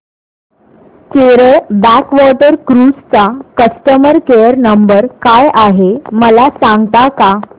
Kerala backwater cruise चा customer care number काय आहे मला सांगता का